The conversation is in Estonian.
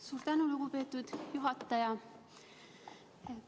Suur tänu, lugupeetud juhataja!